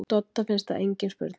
Dodda finnst það engin spurning.